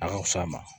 A ka fisa ma